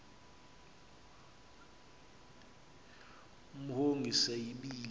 imhongi se yibile